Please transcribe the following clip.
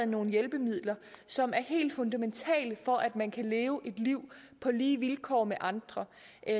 nogle hjælpemidler som er helt fundamentale for at man kan leve et liv på lige vilkår med andre